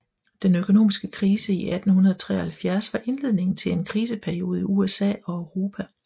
Den økonomiske krise i 1873 var indledningen på en kriseperiode i USA og Europa